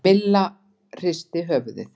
Milla hristi höfuðið.